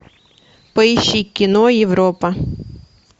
поищи кино европа